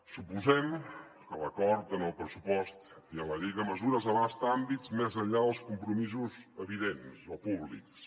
suposem que l’acord en el pressupost i en la llei de mesures abasta àmbits més enllà dels compromisos evidents o públics